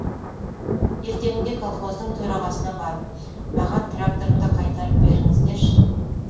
ертеңінде колхоздың төрағасына барып маған тракторымды қайтарып беріңіздерші